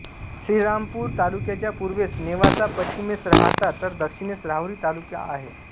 श्रीरामपूर तालुक्याच्या पूर्वेस नेवासा पश्चिमेस राहता तर दक्षिणेस राहुरी तालुका आहे